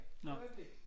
Øjeblik